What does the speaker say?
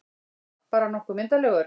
Bara nokkuð myndarlegur.